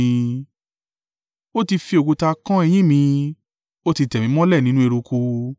Ó ti fi òkúta kán eyín mi; ó ti tẹ̀ mí mọ́lẹ̀ nínú eruku.